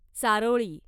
चारोळी